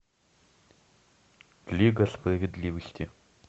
лига справедливости